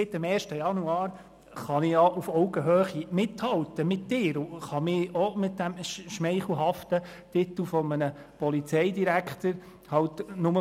Seit dem 1. Januar kann ich mit ihm auf Augenhöhe mithalten und mich ebenfalls mit diesem schmeichelhaften Titel Polizeidirektor schmücken.